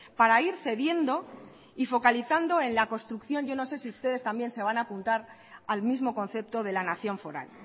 para ir cediendo y focalizando en la construcción yo no sé si ustedes también se van a apuntar al mismo concepto de la nación foral